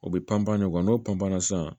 O bɛ panpan n'o panna sisan